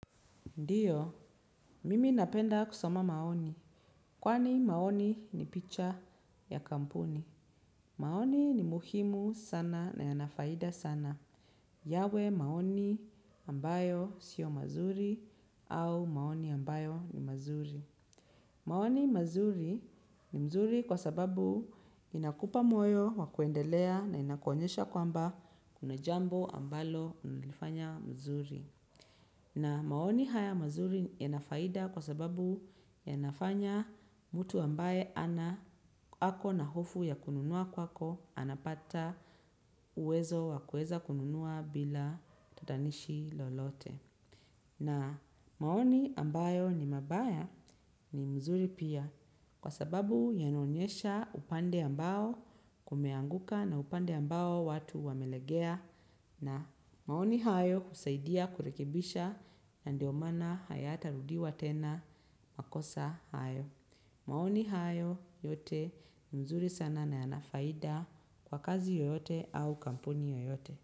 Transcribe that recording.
Ndiyo, mimi napenda kusoma maoni. Kwani maoni ni picha ya kampuni. Maoni ni muhimu sana na yana faida sana. Yawe maoni ambayo sio mazuri au maoni ambayo ni mazuri. Maoni mazuri ni mzuri kwa sababu inakupa moyo wa kuendelea na inakuonyesha kwamba kuna jambo ambalo nilifanya mzuri. Na maoni haya mazuri yana faida kwa sababu yanafanya mtu ambaye ako na hofu ya kununua kwako anapata uwezo wa kuweza kununua bila tatanishi lolote. Na maoni ambayo ni mabaya ni mzuri pia kwa sababu yanaonyesha upande ambao kumeanguka na upande ambao watu wamelegea na maoni hayo husaidia kurekebisha na ndio maana hayatarudiwa tena makosa hayo. Maoni hayo yote ni mzuri sana na yana faida kwa kazi yoyote au kampuni yoyote.